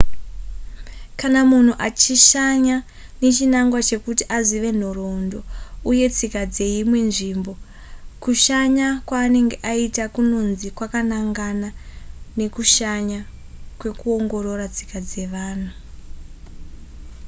kana munhu achishanya nechinangwa chekuti azive nhoroondo uye tsika dzeimwe nzvimbo kushanya kwaanenge aita kunonzi kwakanangana nekushanya kwekuongorora tsika dzevanhu